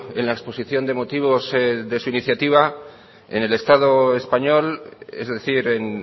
en la exposición de motivos de su iniciativa en el estado español es decir en